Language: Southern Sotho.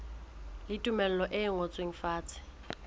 le tumello e ngotsweng fatshe